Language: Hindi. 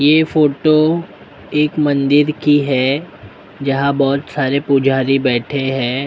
ये फोटो एक मंदिर की हैं जहाँ बहुत सारे पुजारी बैठे हैं ।